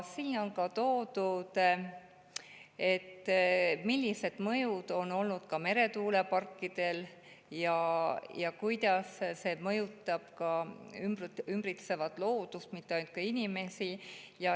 Seal on toodud ära, millised mõjud on olnud meretuuleparkidel ja kuidas need mõjutavad ümbritsevat loodust, mitte ainult inimesi.